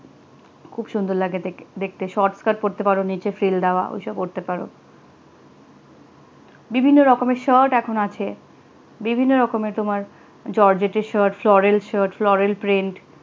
খুব সুন্দর লাগে দেখতে দেখতে short skirt পড়তে পারো নিচে ফাল ডালে ওঈ সব অড়তে পারো বিভিন্ন রকমের. shirt এখন আছে বিভিন্ন রকমের তোমার georgette shirt floral shirt floral print